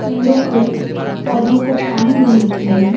पेड़ों को पौधों को पानी देने के लिए--